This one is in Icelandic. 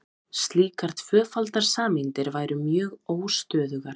slíkar tvöfaldar sameindir væru mjög óstöðugar